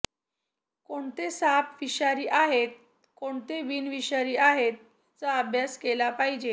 कोणते साप विषारी आहेत कोणते बिनविषारी आहेत याचा अभ्यास केला पाहिजे